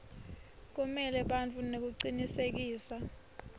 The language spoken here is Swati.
kumela bantfu nekucinisekisa